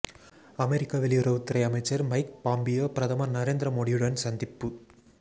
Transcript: அமெரிக்க வெளியுறவுத்துறை அமைச்சர் Mike Pompeo பிரதமர் நரேந்திர மோடியுடன் சந்திப்பு